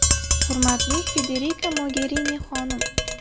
Hurmatli Federika Mogerini xonim!